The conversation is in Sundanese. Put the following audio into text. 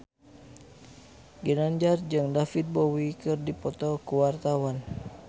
Ginanjar jeung David Bowie keur dipoto ku wartawan